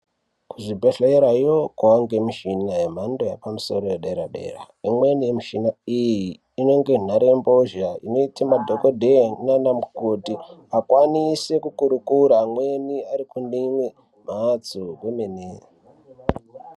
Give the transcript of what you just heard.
Kuzvibhedhleyayo kwaane michina yemando yepamusoro yedera-dera imweni inenge nharembozha madhokodheya nanamukoti vakwanise kukurukura amweni vari kune imwe mhatso